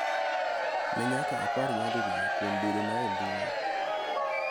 Ne nyaka apar nyadiriyo kuom bedona e mbui .